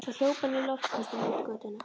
Svo hljóp hann í loftköstum út götuna.